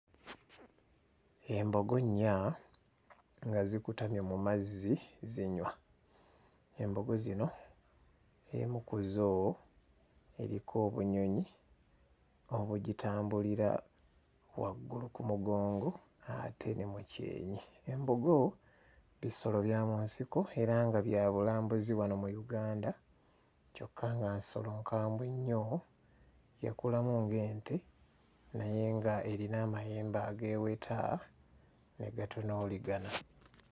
Embogo nnya nga zikutamye mu mazzi zinywa. Embogo zino emu ku zo eriko obunyonyi obugitambulira waggulu ku mugongo ate ne mu kyenyi. Embogo bisolo bya mu nsiko era nga bya bulambuzi wano mu Uganda kyokka nga nsolo nkambwe nnyo. Yakulamu ng'ente naye ng'erina amayembe ageeweta ne gatunuuligana.